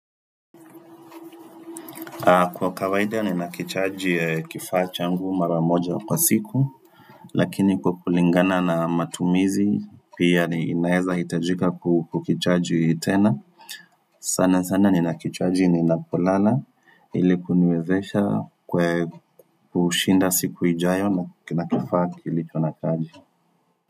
Kwa kawaida nina kichaji kifaa changu mara moja kwa siku Lakini kwa kulingana na matumizi pia ni inaeza hitajika kukichaji tena sana sana ni nakichaji ninapolala ili kuniwezesha kwe kushinda siku ijayo na kifaa kilicho na chaji.